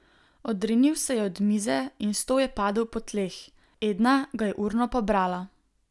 Odrinil se je od mize in stol je padel po tleh, Edna ga je urno pobrala.